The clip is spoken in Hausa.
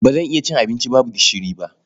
Ba zan iya cin abinci babu gishiri ba.